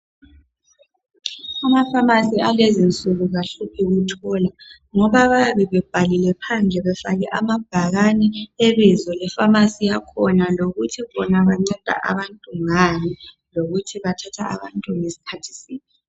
Ama pharmacy alezinsuku awahluphi ukuthola ngoba bayabe bebhalile phandle amabhakani ebizo lepharmacy yakhona lokuthi bona banceda abantu ngani lokuthi bathatha abantu ngeskhathi siphi